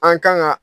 An kan ka